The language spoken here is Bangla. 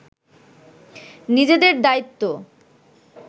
নিজেদের দায়িত্ব